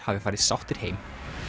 hafi farið sáttir heim